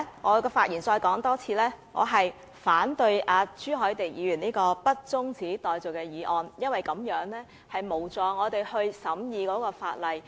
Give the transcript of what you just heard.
我要在發言中再次指出，我反對朱凱廸議員提出的不中止待續的議案，因為這無助我們審議法例。